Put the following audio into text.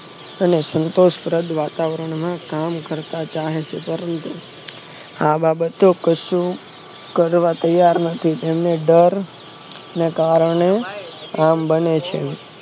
અને સંતોષ પ્રદ વાતાવરણમાં કામ કરત આ બાબતો જો કરવા તૈયાર નથી તેમણે ડર ને કારણે આ બને છે